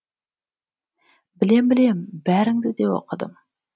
білем білем бәріңді де оқыдым